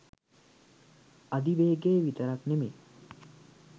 අධි වේගෙ විතරක් නෙමේ